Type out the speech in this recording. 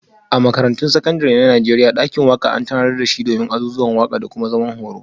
A Makarantun Sakandare na Najeriya, dakin waka an tanadar da shi domin azuzuwan waka da kuma zaman horo.